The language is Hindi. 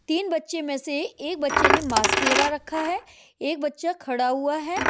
तीन बच्चे मैं से एक बच्चे ने मास्क लगा रखा है एक बच्चा खड़ा हुआ है।